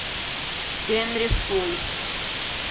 генри фул